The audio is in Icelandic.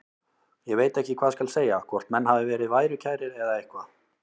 Ég veit ekki hvað skal segja, hvort menn hafi verið værukærir eða eitthvað.